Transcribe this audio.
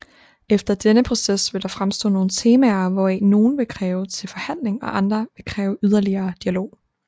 Efter denne proces vil der fremstå nogle temaer hvoraf nogle vil være til forhandling og andre vil kræve yderligere dialog